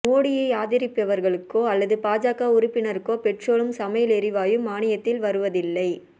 மோடியை ஆதரிப்பவர்களுக்கோ அல்லது பாஜக உறுப்பினருக்கோ பெட்ரோலும் சமையல் எரிவாயும் மானியத்தில் வருவதில்லை